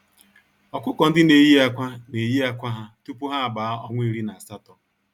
Ọkụkọ-ndị-neyi-ákwà neyi ákwà ha tupu ha agbaa ọnwa iri na asatọ.